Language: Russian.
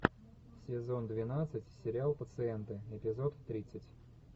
сезон двенадцать сериал пациенты эпизод тридцать